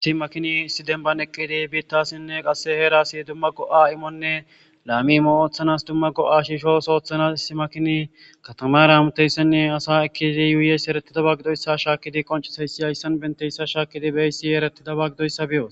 Issi makini sidenban eqqidi biittassinne qasse heerasi dumma go7a imonne laami moo7ooththanas dumma go7a shiishos oothanas isi makini katamara amuteyssenne asa ekkidi yuuyeys eretida ba gidoyssa shaakidi qoncisayssi hayssan benteyssa shaakidi beeysiyeeretidaba gidoyssa biyo